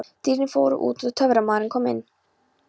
Dýrin fóru út og Töframaðurinn kom inn.